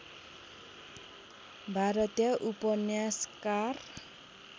भारतीय उपन्यासकार